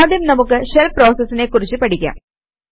ആദ്യം നമുക്ക് ഷെല് പ്രോസസിനെ കുറിച്ച് പഠിക്കാം